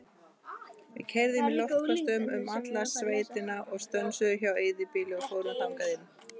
Við keyrðum í loftköstum um alla sveitina og stönsuðum hjá eyðibýli og fórum þangað inn.